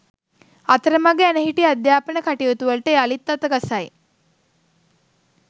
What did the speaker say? අතරමඟ ඇනහිටි අධ්‍යාපන කටයුතුවලට යළිත් අතගසයි